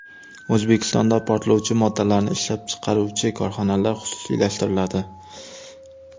O‘zbekistonda portlovchi moddalarni ishlab chiqaruvchi korxonalar xususiylashtiriladi.